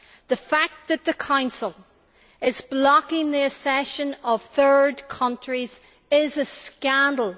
The fact that the Council is blocking the accession of third countries is a scandal